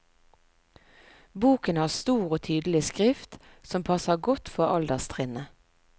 Boken har stor og tydelig skrift, som passer godt for alderstrinnet.